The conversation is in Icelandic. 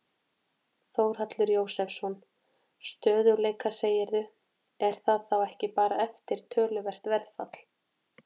Þórhallur Jósefsson: Stöðugleika segirðu, er það þá ekki bara eftir töluvert verðfall?